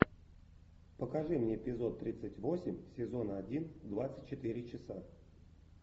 покажи мне эпизод тридцать восемь сезона один двадцать четыре часа